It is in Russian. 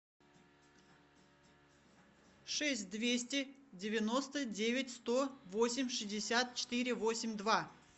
шесть двести девяносто девять сто восемь шестьдесят четыре восемь два